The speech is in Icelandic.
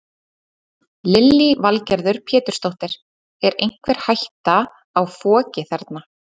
Lillý Valgerður Pétursdóttir: Er einhver hætta á foki þarna?